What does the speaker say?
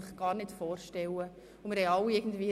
Es lohnt sich, diese Firma einmal zu besuchen.